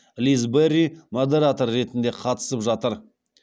лиз берри модератор ретінде қатысып жатыр